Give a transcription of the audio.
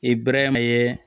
I bɛrɛma ye